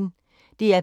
DR P1